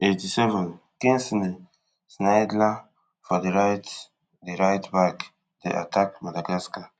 eighty-sevenkingsley shindler for di right di right back dey attack madagascar